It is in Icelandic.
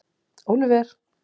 Óliver